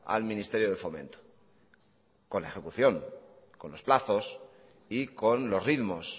al ministerio de fomento con la ejecución con los plazos y con los ritmos